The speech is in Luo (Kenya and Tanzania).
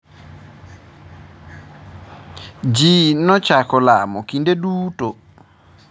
Ji nochako lamo kinde duto.